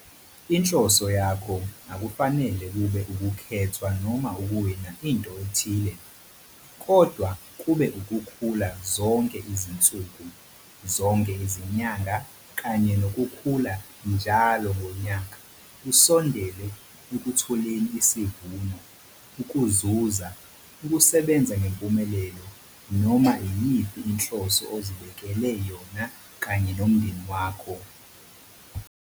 Inhloso yakho akufanele kube ukukhethwa noma ukuwina into ethile, kodwa kube ukukhula zonke izinsuku, zonke izinyanga kanye nokukhula njalo ngonyaka usondele ekutholeni isivuno, ukuzuza, ukusebenza ngempumelelo noma iyiphi inhloso ozibeke yona kanye nomndeni wakho.